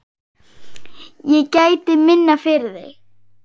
Ég gæti minna, fyrir þig.